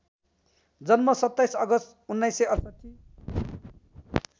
जन्म २७ अगस्ट १९६८